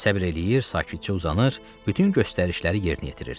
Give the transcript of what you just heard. Səbr eləyir, sakitcə uzanır, bütün göstərişləri yerinə yetirirdi.